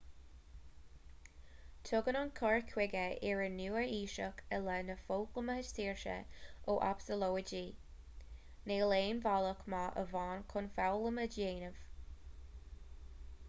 tugann an cur chuige iar-nua-aoiseach i leith na foghlama saoirse ó absalóidí níl aon bhealach maith amháin chun foghlaim a dhéanamh